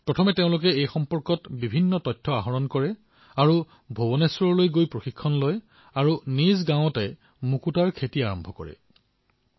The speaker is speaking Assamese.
কিন্তু এওঁলোকে প্ৰথমে জয়পুৰ আৰু ভূৱনেশ্বৰলৈ গৈ সকলো তথ্য সংগ্ৰহ কৰিলে আৰু প্ৰশিক্ষণ গ্ৰহণ কৰিলে